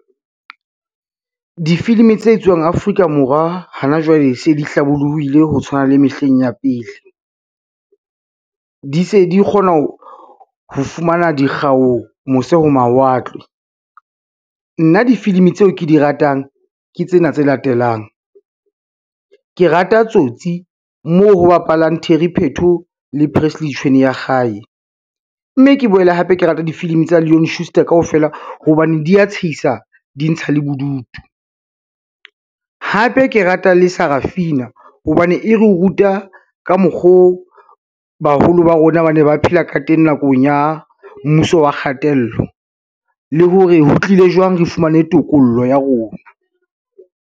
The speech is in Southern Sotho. Difilimi tse etswuang Afrika Morwa hana jwale se di hlabollohile ho tshwana le mehleng ya pele. Di se di kgona ho fumana dikgau mose ho mawatle. Nna difilimi tseo ke di ratang ke tsena tse latelang, ke rata Tsotsi moo ho bapalwang Terry Pheto le Presley Tshweneyakgale, mme ke boele hape ke rata difilimi tsa Lean Schuster kaofela hobane di ya tshehisa, di ntsha le bodutu. Hape ke rata le Sarafina hobane e re ruta ka mokgoo baholo ba rona ba ne ba phela ka teng nakong ya mmuso wa kgatello le hore ho tlile jwang re fumane tokollo ya rona.